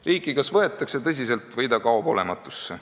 Riiki kas võetakse tõsiselt või ta kaob olematusse.